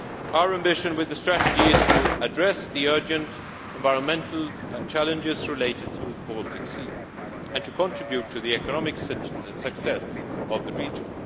Our ambition with the strategy is to address the urgent environmental challenges related to the Baltic Sea, and to contribute to the economic success of the region.